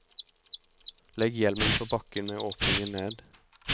Legg hjelmen på bakken med åpningen ned.